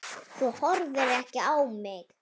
Þú horfir ekki á mig.